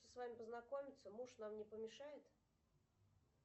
с вами познакомиться муж нам не помешает